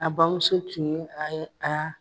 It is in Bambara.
A bamuso tun ye a ye